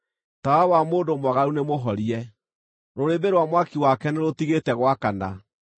“Tawa wa mũndũ mwaganu nĩmũhorie; rũrĩrĩmbĩ rwa mwaki wake nĩrũtigĩte gwakana.